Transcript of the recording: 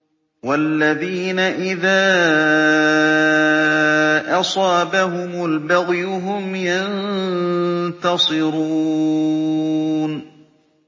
وَالَّذِينَ إِذَا أَصَابَهُمُ الْبَغْيُ هُمْ يَنتَصِرُونَ